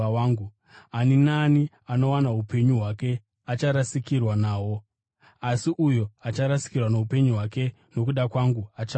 Ani naani anowana upenyu hwake acharasikirwa nahwo, asi uyo acharasikirwa noupenyu hwake nokuda kwangu achahuwana.